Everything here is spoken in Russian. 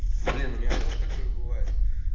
блин у меня тоже такое бывает